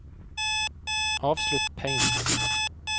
avslutt Paint